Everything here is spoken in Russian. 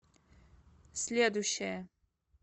следующая